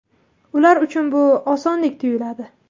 Ular uchun bu osondek tuyuladi.